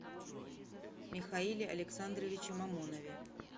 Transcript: михаиле александровиче мамонове